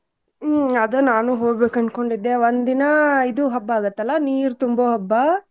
ಹ್ಮ್ ಅದ ನಾನು ಹೋಗ್ಬೇಕ್ ಅನ್ಕೊಂಡಿದ್ದೆ ಒಂದ್ ದಿನಾ ಇದು ಹಬ್ಬಾ ಆಗತ್ತಲಾ ನೀರ್ ತುಂಬೊ ಹಬ್ಬಾ?